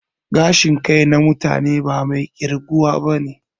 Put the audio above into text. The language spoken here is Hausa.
Gashin kai na mutane ba mai ƙirguwa bane